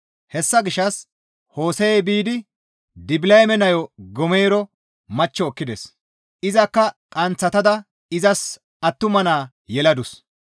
Hessa gishshas Hose7ey biidi Dibilayeme nayo Goomero machcho ekkides; izakka qanththatada izas attuma naa yeladus.